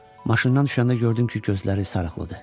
Maşından düşəndə gördüm ki gözləri sarıqlıdır.